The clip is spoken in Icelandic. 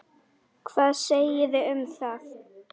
Hvað segiði um það?